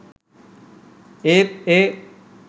ඒත් ඒ